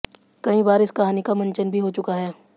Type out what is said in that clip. कई बार इस कहानी का मंचन भी हो चुका है